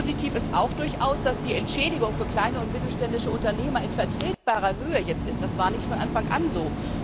Positiv ist auch durchaus, dass die Entschädigung für kleine und mittelständische Unternehmer jetzt in vertretbarer Höhe ist, das war nicht von Anfang an so.